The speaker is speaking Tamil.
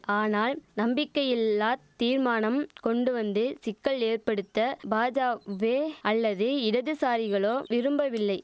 ஆனால் நம்பிக்கையில்லா தீர்மானம் கொண்டுவந்து சிக்கல் ஏற்படுத்த பாஜாவே அல்லது இடதுசாரிகளோ விரும்பவில்லை